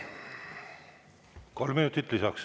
Kolm minutit lisaks.